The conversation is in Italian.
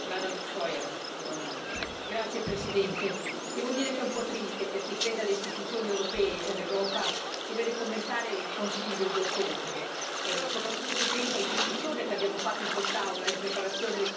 Signora Presidente, onorevoli colleghi, devo dire che è un po' triste, per chi crede alle istituzioni europee e all'Europa, dover commentare il Consiglio europeo di ottobre, soprattutto se penso alla discussione che abbiamo fatto in quest'Aula in preparazione del Consiglio stesso.